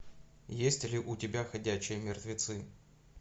есть ли у тебя ходячие мертвецы